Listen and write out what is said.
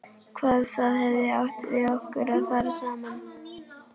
Hvað það hefði átt við okkur að fara saman.